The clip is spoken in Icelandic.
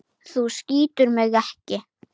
Þú skýtur mig ekki.